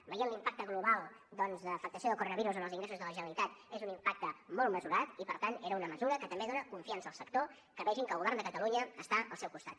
veient l’impacte global doncs d’afectació del coronavirus en els ingressos de la generalitat és un impacte molt mesurat i per tant era una mesura que també dona confiança al sector que vegin que el govern de catalunya està al seu costat